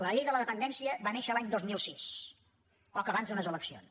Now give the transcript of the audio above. la llei de la dependència va néixer l’any dos mil sis poc abans d’unes eleccions